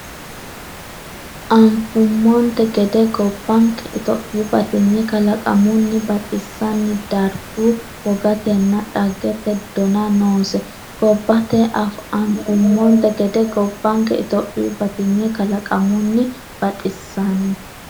Anfummonte gede gobbanke Itophiyu batinye kalaqamunni baxissan- darguwa, wogatenna dhaggete donna noose gobbaati Anfummonte gede gobbanke Itophiyu batinye kalaqamunni baxissan-.